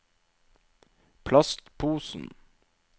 plastposen